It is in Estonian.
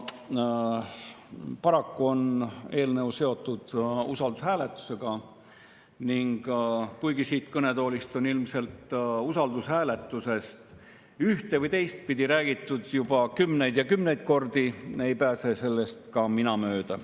Paraku on eelnõu seotud usaldushääletusega ning kuigi siit kõnetoolist on usaldushääletusest ühte- või teistpidi räägitud juba kümneid ja kümneid kordi, ei pääse sellest mööda ka mina.